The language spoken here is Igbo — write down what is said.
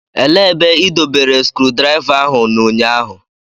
Elee ebe ị dobere skrudraịva ahụ n'ụnyaahụ?